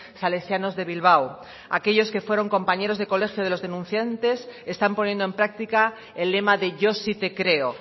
salesianos de bilbao aquellos que fueron compañeros de colegio de los denunciantes están poniendo en práctica el lema de yo sí te creo